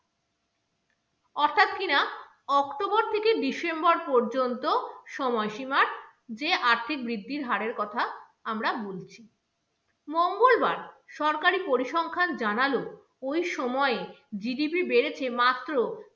october থেকে december পর্যন্ত সময়সীমার যে আর্থিক বৃদ্ধির হারের কথা আমরা বলছি। মঙ্গলবার সরকারি পরিসংখ্যান জানালো, ওই সময় GDP বেড়েছে মাত্র